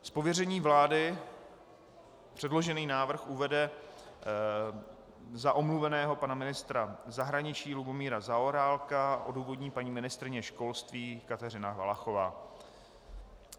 Z pověření vlády předložený návrh uvede za omluveného pana ministra zahraničí Lubomíra Zaorálka a odůvodní paní ministryně školství Kateřina Valachová.